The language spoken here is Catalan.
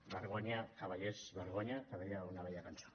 vergonya cavallers vergonya que deia una vella cançó